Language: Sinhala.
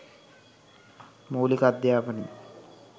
මූලික අධ්‍යාපනය